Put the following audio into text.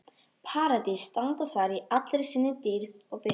Paradís standa þar í allri sinni dýrð og birtu.